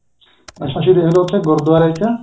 ਅੱਸੀ ਦੇਖਲੋ ਉਥੇ ਗੁਰੂਦੁਆਰੇ ਚ